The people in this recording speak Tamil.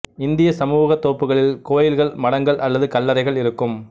இந்தியச் சமூகத் தோப்புகளில் கோயில்கள் மடங்கள் அல்லது கல்லறைகள் இருக்கும்